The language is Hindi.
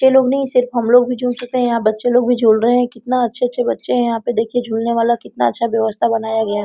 बच्चे लोग नहीं सिर्फ हम लोग भी झूल सकते | यहाँ बच्चे लोग भी झूल रहे हैं कितना अच्छे अच्छे बच्चे हैं यहाँ पे देखिए झूलने वाला कितना अच्छा व्यवस्था बनाया गया है |